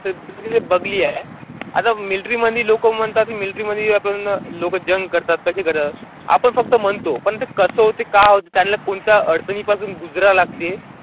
ते बघली आहे आता military मध्ये लोकं म्हणतात military मध्ये आपण लोकं करतात कशी करतात आपण फक्त म्हणतो, पण ते कसं होतं का होतं त्यांना कोणत्या अडचणी पासून लागते.